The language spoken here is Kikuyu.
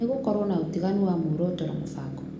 Nĩgũkorwo na ũtiganu wa muoroto na mũbango